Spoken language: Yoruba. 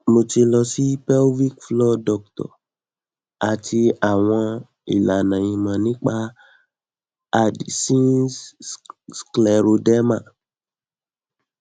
mo ti lọ sí pelvic floor dr àti àwọn ìlànà ìmọ nípa addisons scleroderma